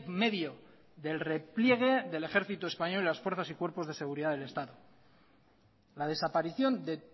medio del repliegue del ejército español y las fuerzas y cuerpos de la seguridad del estado la desaparición de